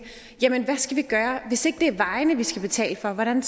jamen hvad skal vi gøre hvis det ikke er vejene vi skal betale for hvordan